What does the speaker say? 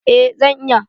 Eh zan iya.